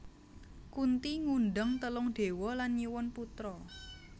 Kunthi ngundang telung dewa lan nyuwun putra